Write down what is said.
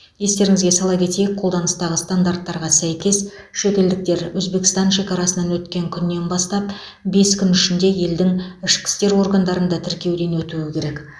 естеріңізге сала кетейік қолданыстағы стандарттарға сәйкес шетелдіктер өзбекстан шекарасынан өткен күннен бастап бес күн ішінде елдің ішкі істер органдарында тіркеуден өтуі керек